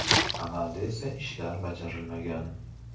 Amalda esa ishlar bajarilmagan.